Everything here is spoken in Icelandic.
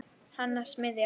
Hann að smíða.